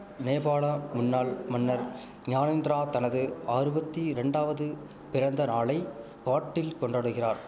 நேபாள முன்னாள் மன்னர் ஞானேந்திரா தனது ஆறுவத்தி ரெண்டாவது பிறந்தநாளை காட்டில் கொண்டாடுகிறார்